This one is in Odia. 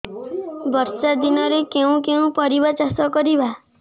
ବର୍ଷା ଦିନରେ କେଉଁ କେଉଁ ପରିବା ଚାଷ କରିବା